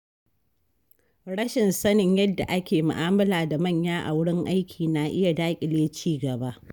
Rashin sanin yadda ake mu’amala da manya a wurin aiki na iya daƙile ci gaba.